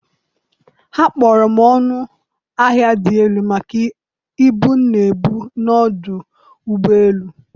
ha kpọrọ ọnụ ahịa dị elu maka ibu m na-ebu n’ọdụ ụgbọ elu